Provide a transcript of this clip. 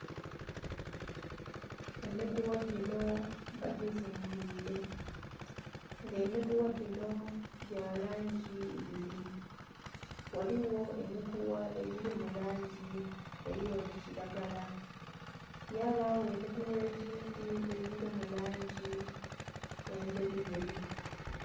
Emigugha ginho bagizingire nga emigugha ginho gya langi ibiri ghaligho emigugha egili mu langi eri oti kilagala ghabayo emigugha egindhi egili mu langi endheru yeru.